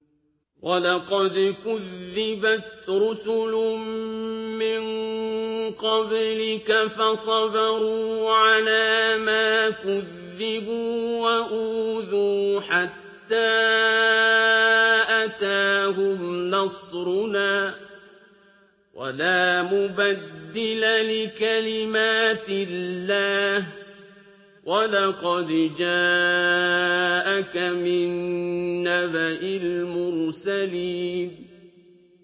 وَلَقَدْ كُذِّبَتْ رُسُلٌ مِّن قَبْلِكَ فَصَبَرُوا عَلَىٰ مَا كُذِّبُوا وَأُوذُوا حَتَّىٰ أَتَاهُمْ نَصْرُنَا ۚ وَلَا مُبَدِّلَ لِكَلِمَاتِ اللَّهِ ۚ وَلَقَدْ جَاءَكَ مِن نَّبَإِ الْمُرْسَلِينَ